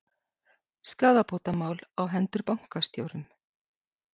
Skaðabótamál á hendur bankastjórum